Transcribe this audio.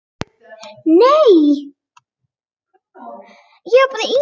Ég dæsti alveg óvart.